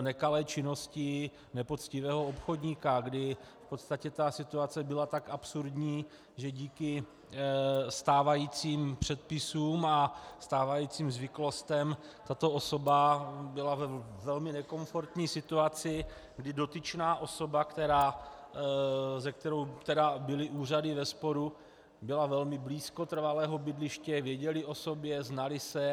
nekalé činnosti nepoctivého obchodníka, kdy v podstatě ta situace byla tak absurdní, že díky stávajícím předpisům a stávajícím zvyklostem tato osoba byla ve velmi nekomfortní situaci, kdy dotyčná osoba, se kterou byly úřady ve sporu, byla velmi blízko trvalého bydliště, věděli o sobě, znali se.